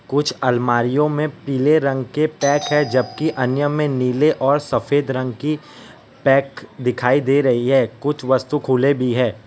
कुछ अलमारीयों में पीले रंग के पैक है जबकि अन्य में नील और सफेद रंग की पैक दिखाई दे रही है कुछ वस्तु खुले भी है।